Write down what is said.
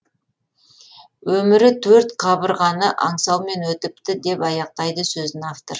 өмірі төрт қабырғаны аңсаумен өтіпті деп аяқтайды сөзін автор